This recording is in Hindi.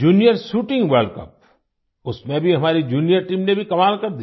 जूनियर शूटिंग वर्ल्ड कप उसमें भी हमारी जूनियर टीम ने भी कमाल कर दिया